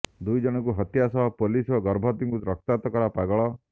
ଦୁଇଜଣଙ୍କୁ ହତ୍ୟା ସହ ପୋଲିସ ଓ ଗର୍ଭବତୀଙ୍କୁ ରକ୍ତାକ୍ତ କଲା ପାଗଳ